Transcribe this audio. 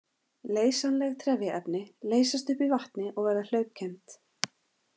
Leysanleg trefjaefni leysast upp í vatni og verða hlaupkennd.